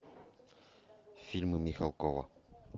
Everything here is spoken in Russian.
фильмы михалкова